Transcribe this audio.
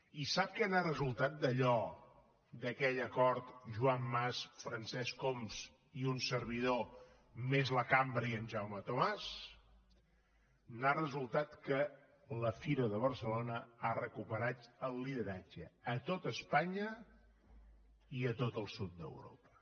i sap què n’ha resultat d’allò d’aquell acord joan clos francesc homs i un servidor més la cambra i en jaume tomàs n’ha resultat que la fira de barcelona ha recuperat el lideratge a tot espanya i a tot el sud d’europa